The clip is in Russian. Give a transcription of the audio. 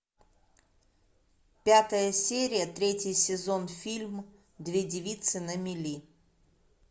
пятая серия третий сезон фильм две девицы на мели